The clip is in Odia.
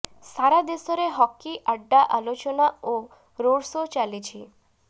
ସାରା ଦେଶରେ ହକି ଆଡ୍ଡା ଆଲୋଚନା ଓ ରୋଡ୍ଶୋ ଚାଲିଛି